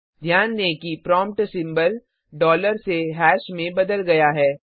ध्यान दें कि प्रोम्प्ट सिम्बल डॉलर से हाश में बदल गया है